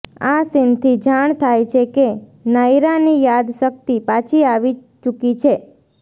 આ સીનથી જાણ થાય છે કે નાયરાની યાદશક્તિ પાછી આવી ચૂકી છે